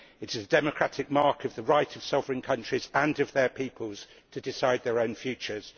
It is the democratic mark of the right of sovereign countries and of their peoples to decide their own futures.